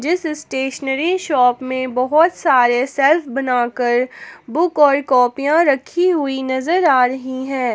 इस stationery shop में बहुत सारे शेल्फ बनाकर बुक और कॉपियां रखी हुई नजर आ रही है।